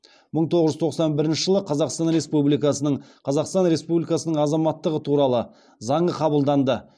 мың тоғыз жүз тоқсан бірінші жылы қазақстан республикасының қазақстан республикасының азаматтығы туралы заңы қабылданды